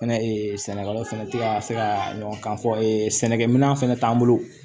Fɛnɛ ee sɛnɛkɛla fɛnɛ tɛ ka se ka ɲɔgɔn kan fɔ sɛnɛkɛ minɛn fɛnɛ t'an bolo